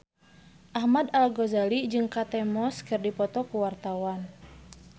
Ahmad Al-Ghazali jeung Kate Moss keur dipoto ku wartawan